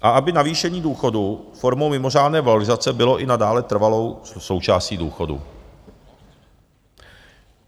A aby navýšení důchodů formou mimořádné valorizace bylo i nadále trvalou součástí důchodu.